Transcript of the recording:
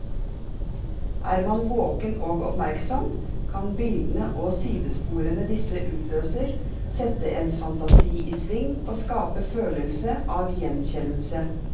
Er man våken og oppmerksom, kan bildene og sidesporene disse utløser, sette ens fantasi i sving og skape følelse av gjenkjennelse.